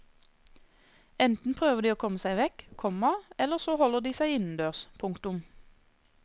Enten prøver de å komme seg vekk, komma eller så holder de seg innendørs. punktum